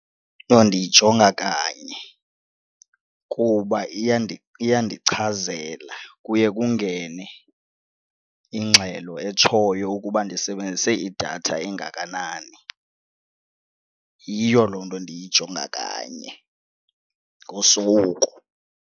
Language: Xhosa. Yho, ndiyijonga kanye kuba iyandichazela kuye kungene ingxelo etshoyo ukuba ndisebenzise idatha engakanani. Yiyo loo nto ndiyijonga kanye ngosuku.